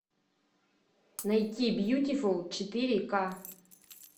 найти бьютифул четыре ка